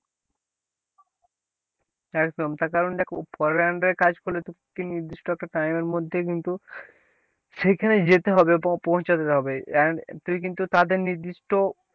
একদম তার কারণ দেখ পরের under এ কাজ করলে তো নির্দিষ্ট একটা time এর মধ্যেই কিন্তু সেখানে যেতে হবে, পৌ~পৌঁছাতে হবে, তুই কিন্তু তাদের নির্দিষ্ট,